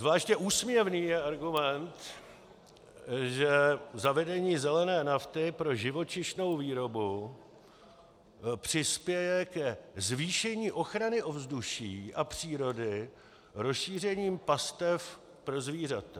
Zvláště úsměvný je argument, že zavedení zelené nafty pro živočišnou výrobu přispěje ke zvýšení ochrany ovzduší a přírody rozšířením pastev pro zvířata.